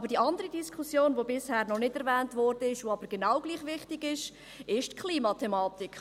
Aber die andere Diskussion, die bisher noch nicht erwähnt wurde, die aber genauso wichtig ist, ist die Klimathematik.